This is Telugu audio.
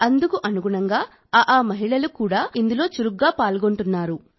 అందుకు అనుగుణంగా ఆఅ మహిళలు కూడా ఇందులో చురుగ్గా పాల్గొంటున్నారు